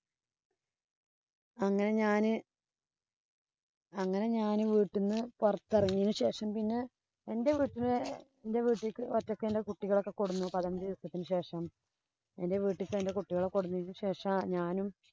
അങ്ങനെ ഞാന് അങ്ങനെ ഞാന് വീട്ടീന്ന് പൊറത്തെറങ്ങിയതിനു ശേഷം പിന്നെ എന്‍റെ വീട്ടില് എന്‍റെ വീട്ടീലേക്ക് ഒറ്റെക്കെന്‍റെ കുട്ടികളെ ഒക്കെ കൊണ്ട് വന്നു പതിനഞ്ചു ദിവസത്തിനു ശേഷം എന്‍റെ വീട്ടിലേക്കു എന്‍റെ കുട്ടികളെ കൊണ്ട് വന്നതിനു ശേഷം